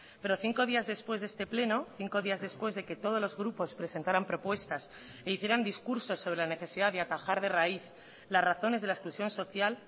pero cinco días después de este pleno cinco días después de que todos los grupos presentaran propuestas e hicieran discursos sobre la necesidad de atajar de raíz las razones de la exclusión social